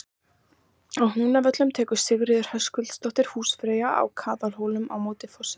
Á Húnavöllum tekur Sigríður Höskuldsdóttir húsfreyja á Kagaðarhóli á móti forseta.